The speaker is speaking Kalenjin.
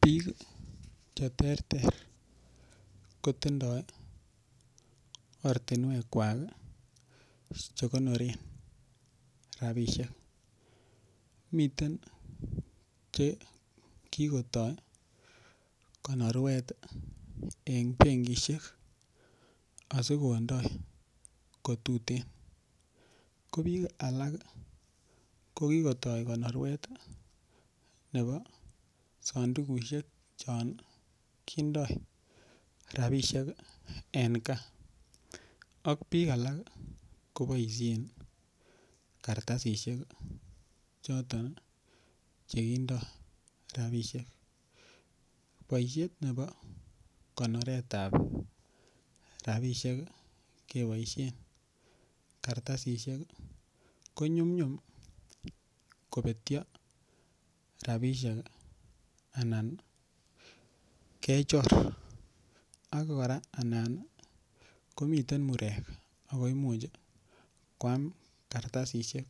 Biik cheterter kotindoi ortinwekwak chekonore rapishek miten chekikotoi konorwet en benkishek asikondoi kotutin ko biik alak kokikotoi konorwet nebo sandukushek cho kindoi rapishek en kaa ak biik alak koboishe karatasishek choto chekindoi rapishek boishet nebo konoretab rapishek keboishen karatasishek konyumyum kobetyo rapishek anan kechor ak kora anan komiten murek ako imuuch koam karatasishek